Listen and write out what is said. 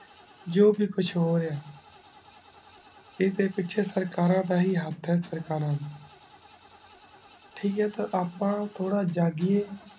ਜੋ ਫਿਰ ਕੁਛ ਹੋ ਰਾਯ੍ਹਾ ਆਯ੍ਡੇ ਪਿਛੇ ਸਰਕਾਰਾਂ ਦਾ ਹੀ ਹੇਠ ਹੈ ਸਰਕਾਰਾਂ ਦਾ ਟਾਕ ਆਯ ਤੇ ਆਪਾਂ ਤੋਰਾ ਜਾਗਹਿ ਆਯ